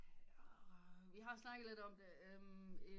Vi har snakket lidt om det en